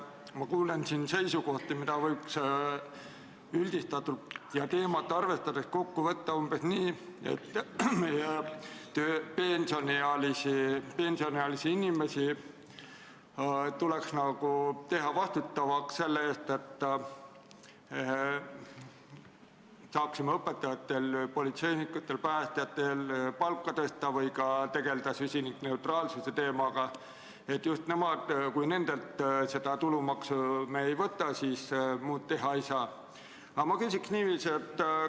Ma kuulen siin seisukohti, mida võib üldistatult ja teemat arvestades kokku võtta umbes nii, et pensioniealised inimesed tuleks nagu teha vastutavaks selle eest, et me saaksime õpetajatel, politseinikel ja päästjatel palka tõsta või tegeleda kliimaneutraalsuse teemaga, et kui me nendelt tulumaksu ei võta, siis muud teha ei saa.